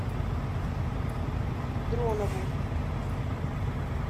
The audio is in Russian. дронову